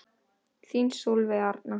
Þín Sólveig Arna.